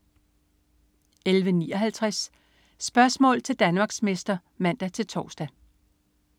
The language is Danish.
11.59 Spørgsmål til Danmarksmester (man-tors)